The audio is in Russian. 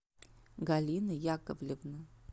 галина яковлевна